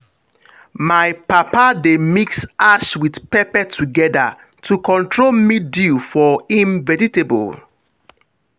my papa dey mix ash with pepper together to control mildew for him vegetable.